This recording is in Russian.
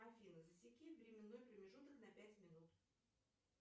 афина засеки временной промежуток на пять минут